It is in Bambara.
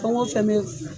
Fɛn o fɛn bɛ